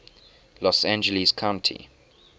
los angeles county